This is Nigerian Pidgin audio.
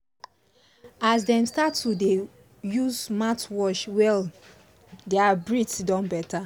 as dem start to dey use mouthwash well their breath don better